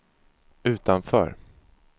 utanför